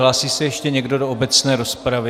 Hlásí se ještě někdo do obecné rozpravy?